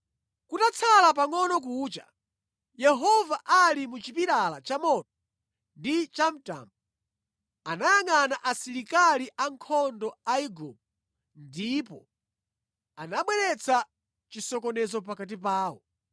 Kutatsala pangʼono kucha, Yehova ali mu chipilala chamoto ndi chamtambo, anayangʼana asilikali ankhondo a Igupto ndipo anabweretsa chisokonezo pakati pawo.